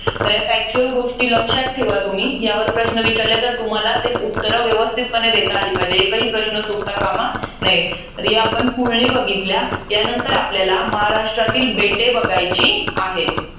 तर या factual गोष्टी लक्षात ठेवा तुम्ही. यावर जर प्रश्न विचारले तुम्हाला ते उत्तरं व्यवस्थितपणे देता आली पाहिजेत. एकही प्रश्न चुकताकामा नये. तर या आपण पुळणी बघितल्या. यानंतर आपल्याला महाराष्ट्रातील बेटे बघायची आहे.